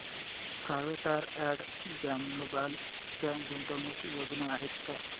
Procter and Gamble च्या गुंतवणूक योजना आहेत का